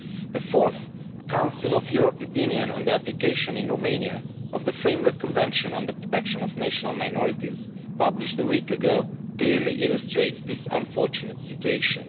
The Fourth Council of Europe Opinion on the application in Romania of the Framework Convention on the Protection of National Minorities, published a week ago, clearly illustrates this unfortunate situation.